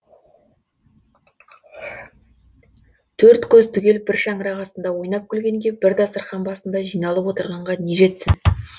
төрт көз түгел бір шаңырақ астында ойнап күлгенге бір дастарқан басында жиналып отырғанға не жетсін